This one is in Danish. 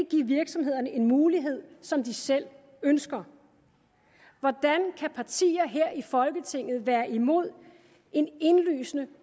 virksomhederne en mulighed som de selv ønsker hvordan kan partier her i folketinget være imod en indlysende